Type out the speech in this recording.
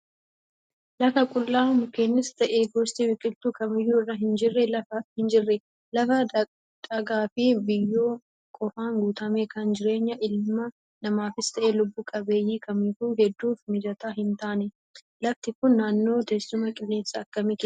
Lafa qullaa mukeenis ta'e gosti biqiltuu kamiyyuu irra hin jirre. Lafa dhagaa fi biyyoo qofaan guutame kan jireenya ilma namaafis ta'e lubbuu qabeeyyii kamiifuu hedduuf mijataa hin taane. lafti kun naannoo teessumaa qilleensa akkamii keessatti argama?